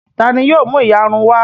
Ta ni yóò mú ìyarun wá?